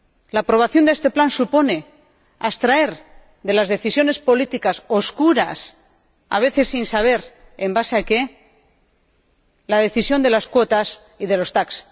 La aprobación de este plan supone abstraer de las decisiones políticas oscuras, a veces sin saber en base a qué, la decisión de las cuotas y de los TAC.